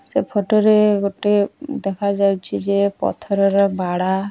ସେ ଫଟୋ ରେ ଗୋଟିଏ ଦେଖାଯାଉଛି ଯେ ପଥରର ବାଡ଼ା।